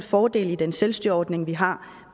fordele i den selvstyreordning vi har